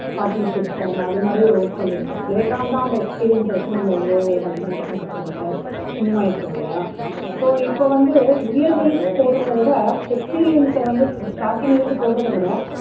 partnership அது மாதிரி work பண்ணி இருப்பாங்க later on தான் அந்த experience சை வச்சு multinational company ல move ஆகி இருப்போம் இல்லையா? so இப்போ வந்து year wise போடறதை விட experience சை வந்து starting லேந்து போடறதை விட